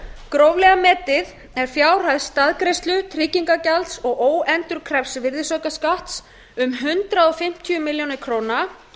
gróflega metið er fjárhæð staðgreiðslu tryggingagjalds og óendurkræfs virðisaukaskatts um hundrað fimmtíu milljónir króna